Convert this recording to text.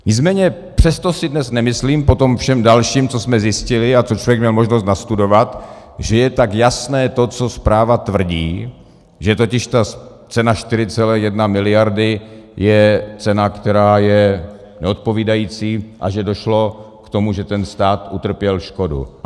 Nicméně přesto si dnes nemyslím po tom všem dalším, co jsme zjistili a co člověk měl možnost nastudovat, že je tak jasné to, co zpráva tvrdí, že totiž ta cena 4,1 miliardy je cena, která je neodpovídající, a že došlo k tomu, že stát utrpěl škodu.